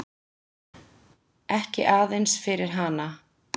Ekki aðeins fyrir hana.